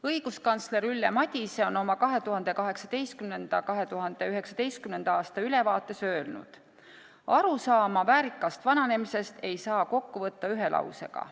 Õiguskantsler Ülle Madise on oma 2018.–2019. aasta ülevaates öelnud: "Arusaama väärikast vananemisest ei saa kokku võtta ühe lausega.